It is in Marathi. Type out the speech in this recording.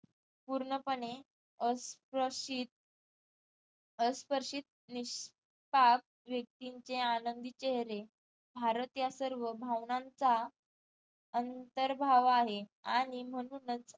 पूर्णपणे अ स प्रशीत अस्पर्शित व्येक्तीचें आनंदी चेहरे भारत या सर्व भावनांचा अंतर भाव आहे आणि म्हणूनच